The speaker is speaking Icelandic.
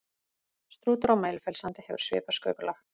Strútur á Mælifellssandi hefur svipað sköpulag.